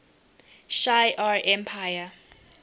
shi ar empire